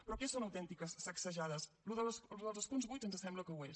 però què són autentiques sacsejades allò dels escons buits ens sembla que ho és